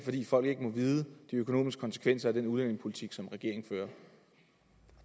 folk ikke må vide noget de økonomiske konsekvenser af den udlændingepolitik som regeringen fører